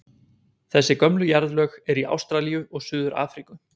Þessi gömlu jarðlög eru í Ástralíu og Suður-Afríku.